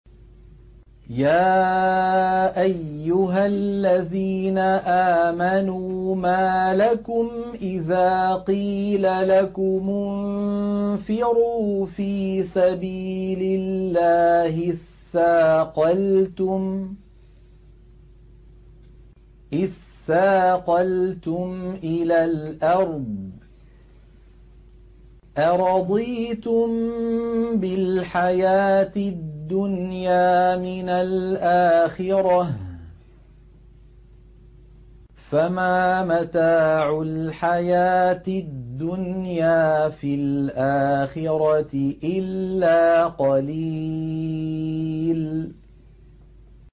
يَا أَيُّهَا الَّذِينَ آمَنُوا مَا لَكُمْ إِذَا قِيلَ لَكُمُ انفِرُوا فِي سَبِيلِ اللَّهِ اثَّاقَلْتُمْ إِلَى الْأَرْضِ ۚ أَرَضِيتُم بِالْحَيَاةِ الدُّنْيَا مِنَ الْآخِرَةِ ۚ فَمَا مَتَاعُ الْحَيَاةِ الدُّنْيَا فِي الْآخِرَةِ إِلَّا قَلِيلٌ